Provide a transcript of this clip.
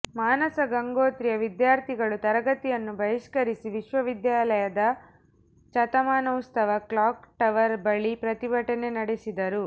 ಮಾನಸಗಂಗೋತ್ರಿಯ ವಿದ್ಯಾರ್ಥಿಗಳು ತರಗತಿಯನ್ನು ಬಹಿಷ್ಕರಿಸಿ ವಿಶ್ವವಿದ್ಯಾನಿಲಯದ ಶತಮಾನೋತ್ಸವ ಕ್ಲಾಕ್ ಟವರ್ ಬಳಿ ಪ್ರತಿಭಟನೆ ನಡೆಸಿದರು